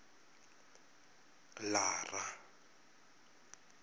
lara